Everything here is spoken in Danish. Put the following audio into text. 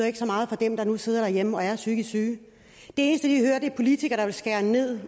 ikke så meget for dem der nu sidder derhjemme og er psykisk syge det eneste de hører er politikere der vil skære ned